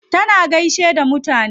Tana gaishe da mutane.